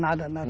Nada, nada.